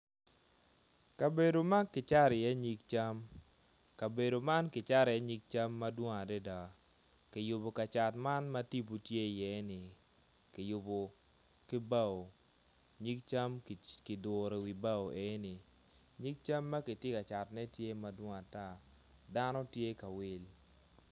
Kabedo ma ki cato i ye nyig cam kabedo man kicato i ye nyig cam madwong adada kayubo kacat man ma tipo tye i ye ni kiyubo ki bao nyig cam kiduro i wi bao eni nyig cam makitye kacato ne tye madwong adada dano tye ka ringo.